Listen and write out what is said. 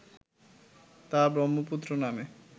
তা ব্রহ্মপুত্র নামে